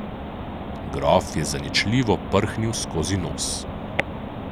Grof je zaničljivo prhnil skozi nos.